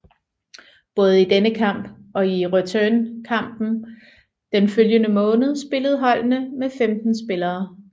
Både i denne kamp og i returnkampen den følgende måned spillede holdene med 15 spillere